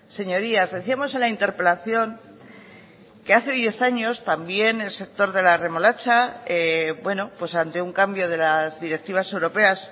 señorías decíamos en la interpelación que hace diez años también el sector de la remolacha bueno pues ante un cambio de las directivas europeas